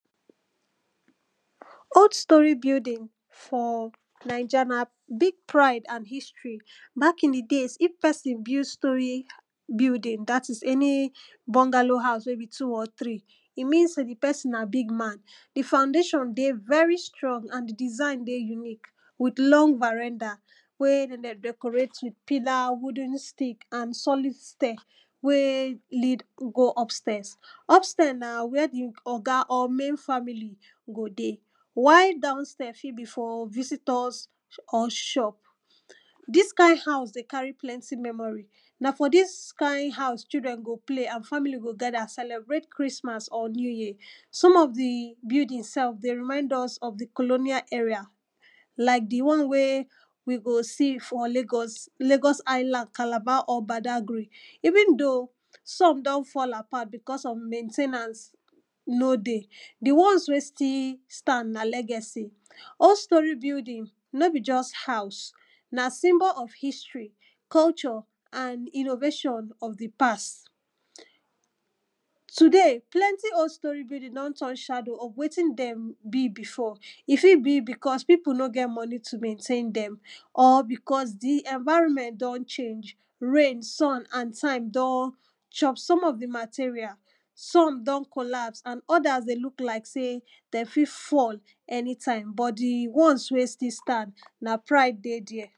old storey building for naija na big pride and history back in de days if person build storey building that is any bungalow house wey be two or three e mean say de person na big man de foundation dey very strong and de design de unique wit long veranda wey dem de decorate wit pillar wooden stick and solid stairs wey lead you go upstairs upstairs na where de oga or main family go? de? while down stairs fit be for visitors?? ???p d??s ka???n ha?u?s de? ka?r?? pl??nt?? m??m??r?? na dis kain house children go play and family go gather celebrate Christmas or new year some of de buildings sef dey remind us of de colonial era like de one wey wey we go see for Lagos Lagos island Calabar or Badagry even though some don fall apart because of main ten ance e no dey de ones wey still stand na legacy old story building no be just house na symbol of history culture and innovation of de past today plenty old storey building don turn shadow of wetin dem be before e fit be because pipu no get money to maintain dem or because de environment don change rain sun and time don chop some of de material some don collapse and others de look like sey dey fit fall anytime but de ones wey still stand na pride dey der